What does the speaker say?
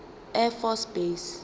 air force base